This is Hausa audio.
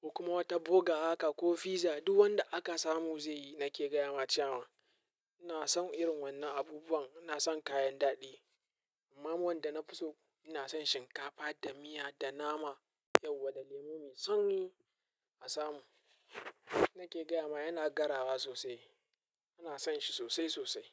ko kuma wata burger haka ko fiza duk wanda aka samu zai yi. Nake gayama cewan ina son irin wannan abubuwan. Ina son kayan daɗi. Amma wanda nafi so ina son shinkafa da miya da nama yauwa da lemu mai sanyi a samu. Nake gayama yana garawa sosai. Ina son shi sosai sosai.